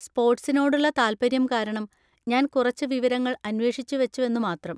സ്‌പോർട്‌സിനോടുള്ള താൽപ്പര്യം കാരണം ഞാൻ കുറച്ച് വിവരങ്ങൾ അന്വേഷിച്ചുവച്ചുവെന്നു മാത്രം..